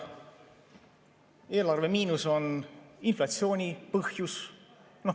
Eelarvemiinus on inflatsiooni põhjus.